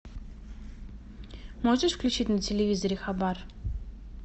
можешь включить на телевизоре хабар